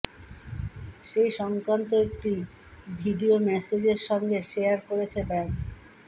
সেই সংক্রান্ত একটি ভিডিও মেসেজের সঙ্গে শেয়ার করেছে ব্যাঙ্ক